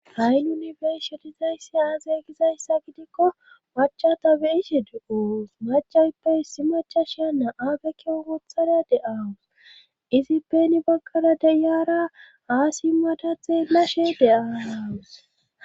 hay nuni besho diyssisi aaze gizayssa gidikko macha tabeishe du7uus macayppe issi macha sheya na7aagekeo oothada de7aawus izi peni baggada deyaara aasi mada xeelashe de7aaawus